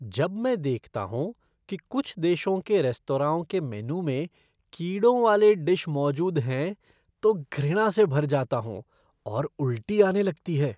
जब मैं देखता हूँ कि कुछ देशों के रेस्तराओं के मेनू में कीड़ों वाले डिश मौजूद हैं तो घृणा से भर जाता हूँ और उल्टी आने लगती है।